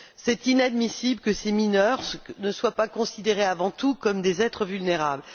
Il est inadmissible que ces mineurs ne soient pas considérés avant tout comme des êtres vulnérables.